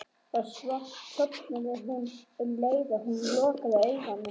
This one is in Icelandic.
Svo sofnaði hún um leið og hún lokaði augunum.